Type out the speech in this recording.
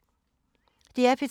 DR P3